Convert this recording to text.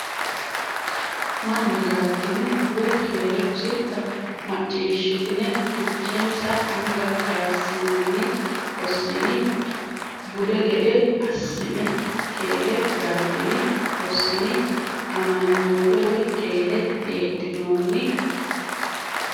manna galtini? woy keere hositta? macciishshitine fichensa anga kayissinanni hossini? bude gede assine, “Keere galtini? hossini? amanyoote Woy keere heedhinoonni?